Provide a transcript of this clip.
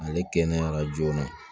Ale kɛnɛyara joona